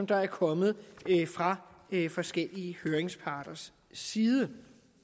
der er kommet fra forskellige høringsparters side